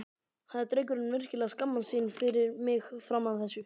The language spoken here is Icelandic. Hafði drengurinn virkilega skammast sín fyrir mig fram að þessu?